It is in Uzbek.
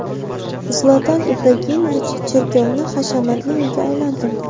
Zlatan Ibragimovich cherkovni hashamatli uyga aylantirdi.